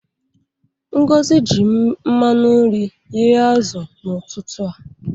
Ngozi ji mmanụ nri ghee azụ n'ụtụtụ a.